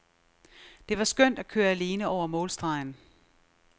Det var skønt at køre alene over målstregen.